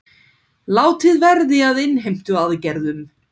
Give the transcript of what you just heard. Látið verði af innheimtuaðgerðum